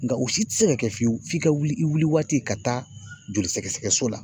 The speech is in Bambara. Nga o si te se ka kɛ fiyewu, f'i ka wuli i wuli waati ka taa joli sɛgɛsɛgɛ so la.